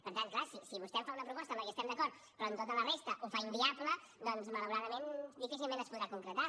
per tant clar si vostè em fa una proposta en què estem d’acord però amb tota la resta ho fa inviable doncs malauradament difícilment es podrà concretar